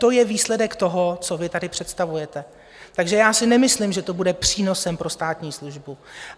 To je výsledek toho, co vy tady představujete, takže já si nemyslím, že to bude přínosem pro státní službu.